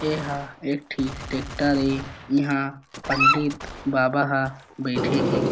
ए हा एक ठी टेक्टर ए इहा पंडित बाबा हा बइठे हे।